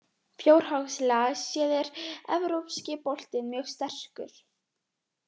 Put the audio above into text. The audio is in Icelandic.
Fjárhagslega séð er Evrópski boltinn mjög sterkur.